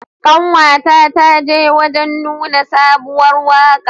Ƙanwa ta ta je wajan nuna sabuwar waka.